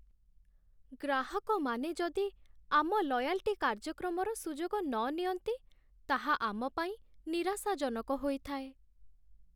ଗ୍ରାହକମାନେ ଯଦି ଆମ ଲୟାଲ୍‌ଟି କାର୍ଯ୍ୟକ୍ରମର ସୁଯୋଗ ନ ନିଅନ୍ତି, ତାହା ଆମପାଇଁ ନିରାଶାଜନକ ହୋଇଥାଏ।